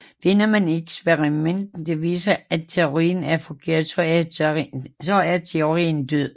Finder man et eksperiment der viser at teorien er forkert så er teorien død